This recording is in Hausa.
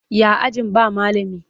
Ya ajin ba malami?